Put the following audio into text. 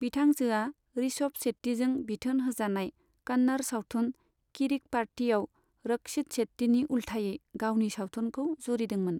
बिथांजोआ ऋषभ शेट्टीजों बिथोन होजानाय कन्नड़ सावथुन किरिक पार्टीयाव रक्षित शेट्टीनि उल्थायै गावनि सावथुनखौ जुरिदोंमोन।